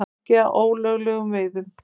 Ekki að ólöglegum veiðum